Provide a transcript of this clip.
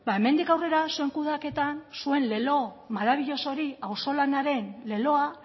hemendik aurrera zuen kudeaketan zuen lelo maravilloso hori auzolanaren leloa